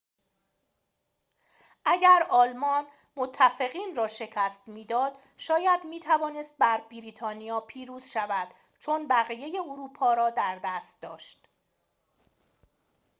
اگر آلمان متفقین را شکست می‌داد شاید می‌توانست بر بریتانیا پیروز شود چون بقیه اروپا را در دست داشت